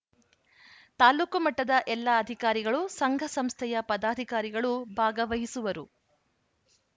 ತಾಲೂಕು ಮಟ್ಟದ ಎಲ್ಲಾ ಅಧಿಕಾರಿಗಳುಸಂಘಸಂಸ್ಥೆಯ ಪದಾಧಿಕಾರಿಗಳು ಭಾಗವಹಿಸುವರು